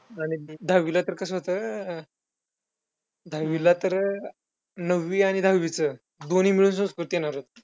आणि दहावीला कसं होतं, दहावीला तर नववी आणि दहावीचं दोन्ही मिळून संस्कृत घेणार होते.